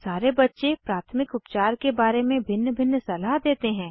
सारे बच्चे प्राथमिक उपचार के बारे में भिन्न भिन्न सलाह देते हैं